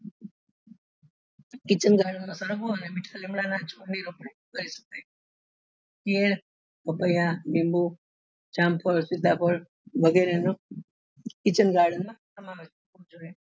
Kitchen garden માં પેર પપૈયા લીંબુ જામફળ સીતાફળ વગેરે નો kitchen garden સમાવેશ થાય છે.